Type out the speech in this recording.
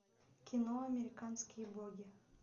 кино американские боги